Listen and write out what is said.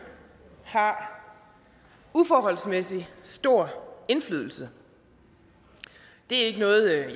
har uforholdsmæssig stor indflydelse det er ikke noget jeg